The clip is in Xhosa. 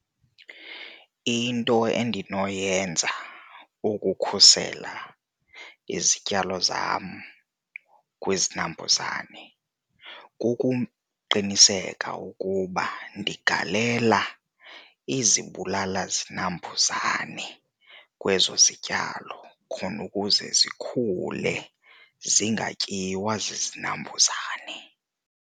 Into endinoyenza ukukhusela izityalo zam kwizinambuzane kukuqinisekisa ukuba uba ndigalela izibulalazinambuzane kwezo zityalo khona ukuze zikhule zingatyiwa zizinambuzane.